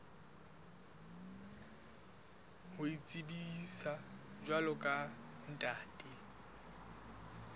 ho itsebisa jwalo ka ntate